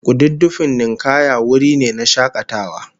Kududdufin ninkaya wuri ne na shakatawa